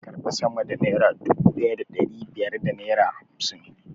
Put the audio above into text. Kada ka karbi sama da naira dubu ɗaya da ɗari biyar da naira ashirin!